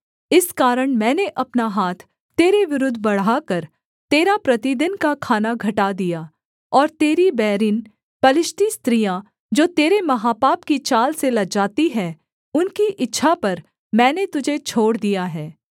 इस कारण मैंने अपना हाथ तेरे विरुद्ध बढ़ाकर तेरा प्रतिदिन का खाना घटा दिया और तेरी बैरिन पलिश्ती स्त्रियाँ जो तेरे महापाप की चाल से लजाती है उनकी इच्छा पर मैंने तुझे छोड़ दिया है